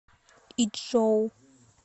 ичжоу